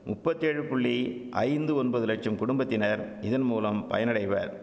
முப்பத்தேழு புள்ளி ஐந்து ஒன்பது லட்சம் குடும்பத்தினர் இதன்மூலம் பயனடைவர்